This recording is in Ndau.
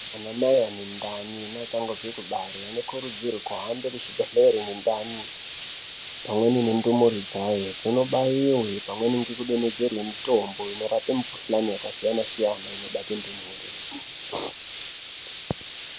Anamai ane ndani neachangobve kubare anokurudzirwa kuti kuhambe kuzvibhedhlere nendani, pamweni nendumure dzayo dzinobaiwe pamweni ngekudonhedzerwe mitombo inorape mikhuhlani yakasiyana-siyana, inobate ndumure.